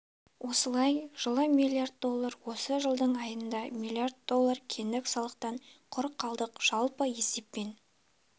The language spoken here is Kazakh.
осылай жылы миллард доллар осы жылдың айында миллиард доллар кедендік салықтан құр қалдық жалпы есеппен